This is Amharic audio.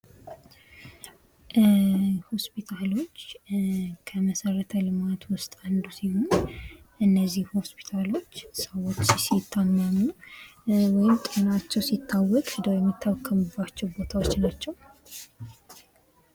ሆስፒታሎች ከመሰረተ ልማት ዉስጥ አንዱ ሲሆን እነዚህ ሆስፒታሎች ሰዎች ሲታመሙ ወይም ጤናቸው ሲታወቅ ሄደው የምታከሙባቸው ቦታዎች ናቸው::